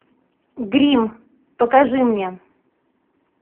гримм покажи мне